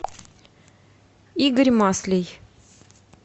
игорь маслей